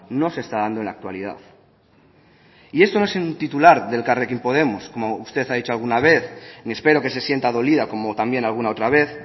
no se está dando en la actualidad y esto no es un titular de elkarrekin podemos como usted ha dicho alguna vez ni espero que se sienta dolida como también alguna otra vez